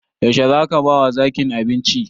Yaushe zaka ba wa zakin abinci?